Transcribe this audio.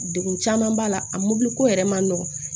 Degun caman b'a la a mɔbili ko yɛrɛ ma nɔgɔn